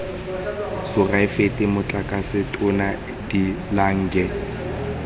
poraefete motlatsa tona de lange